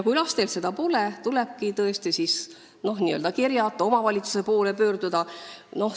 Kui lastel seda raha pole, tulebki tõesti siis n-ö kerjata, omavalitsuse poole pöörduda.